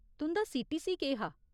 तुं'दा सीटीसी केह् हा ?